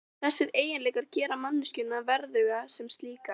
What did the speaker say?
Þessir eiginleikar gera manneskjuna verðuga sem slíka.